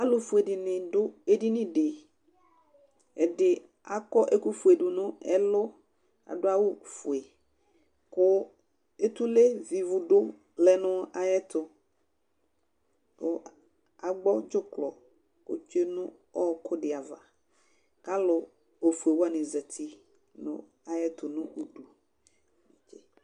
alofue dini do edini di ɛdi akɔ ɛkofue do no ɛlu ado awu fue kò etule vi ivu do lɛ no ayɛto kò ado dzuklɔ otsue no òkò di ava k'alo ofue wani zati no ayɛto no udu netse